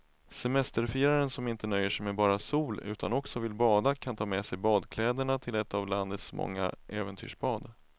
Semesterfiraren som inte nöjer sig med bara sol utan också vill bada kan ta med sig badkläderna till ett av landets många äventyrsbad.